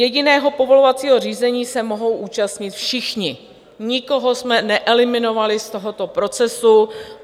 Jediného povolovacího řízení se mohou účastnit všichni, nikoho jsme neeliminovali z tohoto procesu.